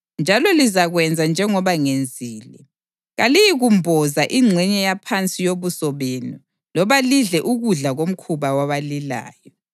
Njalo lizakwenza njengoba ngenzile. Kaliyikumboza ingxenye yaphansi yobuso benu loba lidle ukudla komkhuba wabalilayo.